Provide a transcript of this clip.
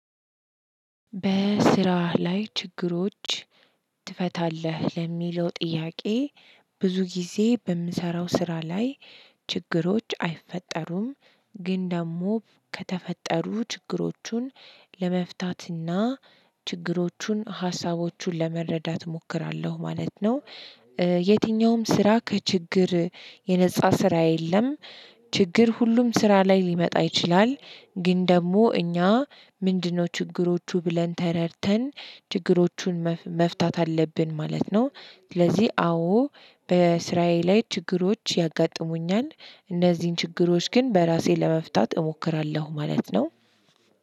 በስራህ ላይ ችግሮች ትፈታለህ ለሚለው ጥያቄ? ብዙ ጊዜ በምሰራው ስራ ላይ ችግሮች አይፈጠሩም ግን ደግሞ ከተፈጠሩ ችግሮቹን ለመፍታትና ችግሮቹን ሀሳቦቹን ለመረዳት እሞክራለሁ ማለት ነው። የትኛውም ስራ ከችግር የነፃ ስራ የለም። ችግር ሁሉም ስራ ላይ ሊመጣ ይችላል። ግን ደግሞ እኛ ምንድነው ችግሮቹ ብለን ተረድተን ችግሮቹን መፍታት አለብን ማለት ነው። ስለዚህ አዎ በስራዬ ላይ ችግሮች ያጋጥሙኛል እነዚህን ችግሮች ግን በራሴ ለመፍታት እሞክራለሁ ማለት ነው።